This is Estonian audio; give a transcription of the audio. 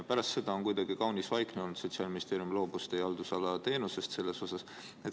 Pärast seda on kuidagi kaunis vaikne olnud, Sotsiaalministeerium loobus selles asjas teie haldusala teenusest.